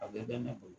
A bɛɛ bɛ ne bolo